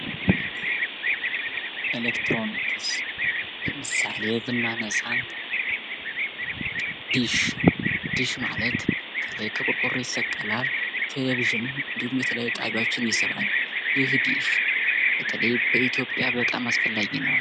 ኤሌክትሮኒክስ ለምሳሌ ብናነሳ ድሽ ድሽ ማለት ከላይ ከቆርቆሮ ይሰቀላል ቴሌቪዥን እንድሁም የተለያዩ ጣቢያዎችን ይስባል ይህ እንግዲህ በተለይ በኢትዮጵያ በጣም አስፈላጊ ነው።